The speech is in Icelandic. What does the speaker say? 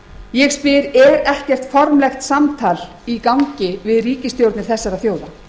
ég spyr er ekkert formlegt samtal í gangi við ríkisstjórnir þessara þjóða